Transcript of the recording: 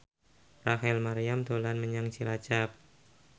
Rachel Maryam dolan menyang Cilacap